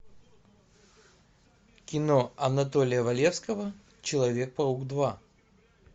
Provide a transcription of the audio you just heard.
кино анатолия валевского человек паук два